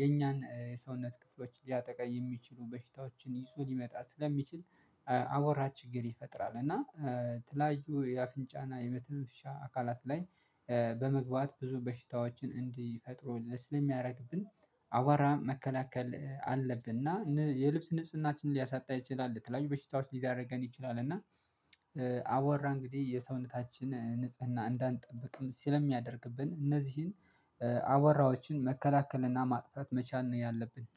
የኛን የሰውነት ክፍሎች ሊያጠቃ የሚችሉ በሽታዎችን ይዞ ሊመጣ ስለሚችል። አወራ ችግር ይፈጥራል እና ትላዩ የአፍንጫና የመተንፈሻ አካላት ላይ በመግባት ብዙ በሽታዎችን እንዲፈጥሩ ስለሚያደርግብን። አዋራ መከላከል አለብንና የልብስ ንጽህናችንን ሊያሳጣ ይችላል ለተለያዩ በሽታዎች ሊያደርገን ይችላል እና። አወራ እንግዲህ የሰውነታችን ንጽህና እንዳንጠብቅም ስለሚያደርግብን እነዚህን አወራዎችን መከላከልና ማጥፋት መቻል ነው ያለብን